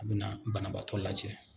A bɛ na banabaatɔ lajɛ